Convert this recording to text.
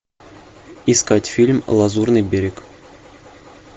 искать фильм лазурный берег